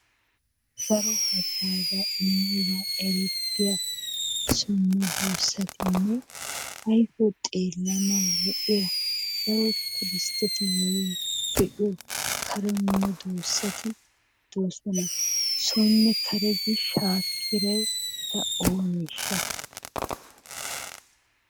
daro hagaazza immiyoogan erettiya so medoosatinne woykko xeellanaw lo''iyaa woy tuuristetti be'iyo kare medoosati de'oosona. soone kare gi shaakkiray eta ooneshsha?